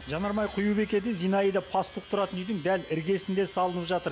жанармай құю бекеті зинаида пастух тұратын үйдің дәл іргесінде салынып жатыр